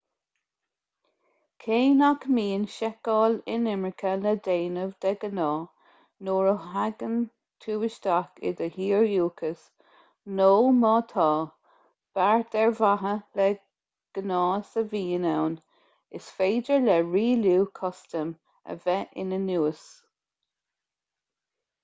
cé nach mbíonn seiceáil inimirce le déanamh de ghnáth nuair a thagann tú isteach i do thír dhúchais nó má tá beart ar mhaithe le gnás a bhíonn ann is féidir le rialú custaim a bheith ina núis